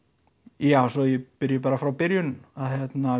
já svo ég byrja bara frá byrjun þá